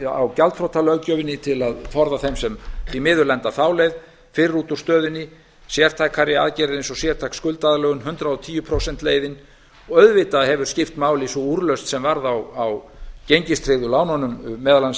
á gjaldþrotalöggjöfinni til að forða þeim sem því miður lenda þá leið fyrr út úr stöðunni sértækari aðgerð eins og sértæk skuldaaðlögun hundrað og tíu prósenta leiðin og auðvitað hefur skipt máli sú úrlausn sem varð á gengistryggðu lánunum meðal annars